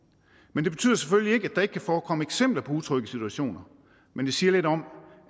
men det betyder selvfølgelig ikke at der ikke kan forekomme eksempler på utrygge situationer men det siger lidt om